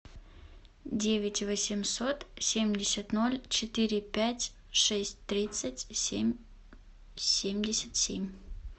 девять восемьсот семьдесят ноль четыре пять шесть тридцать семь семьдесят семь